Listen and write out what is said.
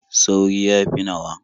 Sauri ya haifi nawa.